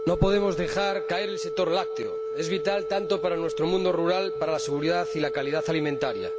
No podemos dejar caer al sector lácteo, es vital para nuestro mundo rural, para la seguridad y la calidad alimentaria.